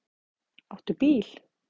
Áttu bíl?